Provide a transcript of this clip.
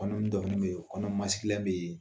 Kɔnɔnin dɔ bɛ yen kɔnɔ bɛ yen